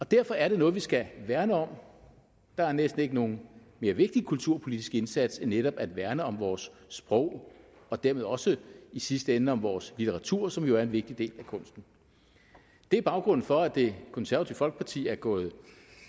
derfor er det noget vi skal værne om der er næsten ikke nogen mere vigtig kulturpolitisk indsats end netop at værne om vores sprog og dermed også i sidste ende om vores litteratur som jo er en vigtig del af kunsten det er baggrunden for at det konservative folkeparti er gået